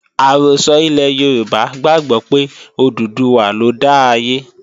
Àrọ́sọ ilẹ̀ Yorùbá gbàgbó pé Òdùduwà lọ dá ayé